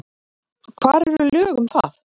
Hvar eru lög um það?